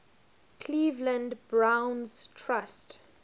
cleveland browns trust